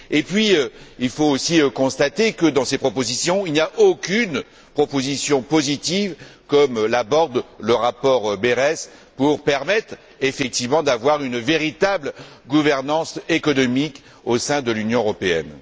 Et puis, il faut aussi constater que dans ces propositions, il n'y a aucune proposition positive comme l'aborde le rapport Berès pour permettre effectivement d'avoir une véritable gouvernance économique au sein de l'Union européenne.